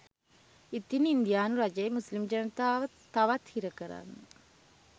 ඉතින් ඉන්දියානු රජය මුස්ලිම් ජනතාව තවත් හිරකරන්න